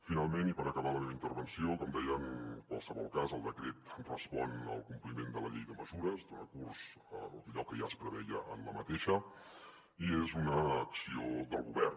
finalment i per acabar la meva intervenció com deia en qualsevol cas el decret respon al compliment de la llei de mesures dona curs a allò que ja es preveia en la mateixa i és una acció del govern